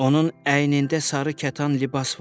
Onun əynində sarı kətan libas var.